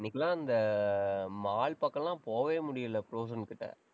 இன்னைக்கெல்லாம் அந்த mall பக்கம் எல்லாம் போகவே முடியலை ப்ரோஸோன் கிட்ட